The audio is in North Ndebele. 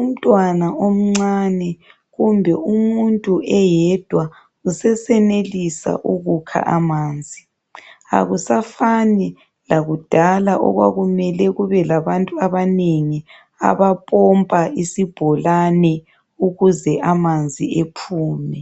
Umntwana omncane, kumbe umuntu oyedwa usesenelisa ukukha amanzi. Kakusafani lakudala lapho okwakumele kube labantu abanengi, bokupompa isibholane ukuze amanzi aphume.